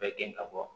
Bɛɛ gɛn ka bɔ